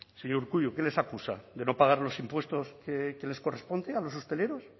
señor urkullu que les acusa de no pagar los impuestos que les corresponde a los hosteleros